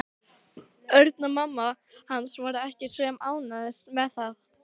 Örn og mamma hans voru ekki sem ánægðust með það.